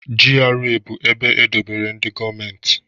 GRA bụ ebe e dobere ndị gọọmenti